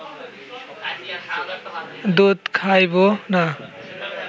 দুধ খাইব না